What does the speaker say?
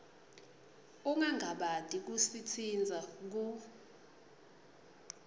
ungangabati kusitsintsa ku